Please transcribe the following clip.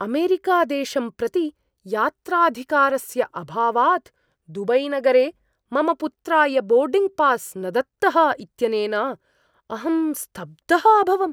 अमेरिकादेशं प्रति यात्राधिकारस्य अभावात् दुबैनगरे मम पुत्राय बोर्डिङ्ग् पास् न दत्तः इत्यनेन अहं स्तब्धः अभवम्।